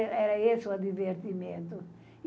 Era esse o advertimento.